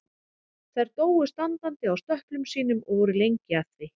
Þær dóu standandi á stöplum sínum og voru lengi að því.